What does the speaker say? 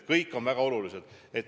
Kõik on väga olulised.